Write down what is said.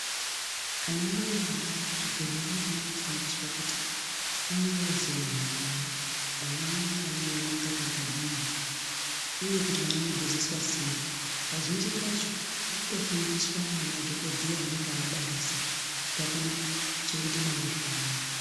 Anamai akabara kuzvibhedhlera anofana kufundiswa kuti anorera sei mwana wavo mwana unofana kuyamwa mukaka akadini uye kuti mwana unogezeswa sei kazhinji kacho vanotofundiswa ngemadhokodheya anenge abarisa kuti vakone kuchengeta mwana zvakanaka.